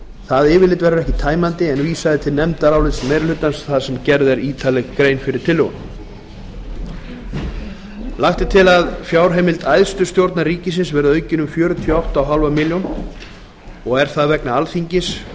það yfirlit verður ekki tæmandi en vísað er til nefndarálits meirihlutans þar sem gerð er ítarleg grein fyrir tillögunum lagt er til að fjárheimild æðstu stjórnar ríkisins verði aukin um fjörutíu og átta og hálfa milljón króna og er það vegna alþingis